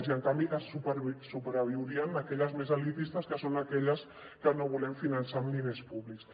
i en canvi sobreviurien aquelles més elitistes que són aquelles que no volem finançar amb diners públics